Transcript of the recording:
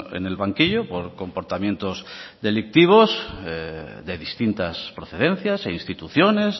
en el banquillo por comportamientos delictivos de distintas procedencias e instituciones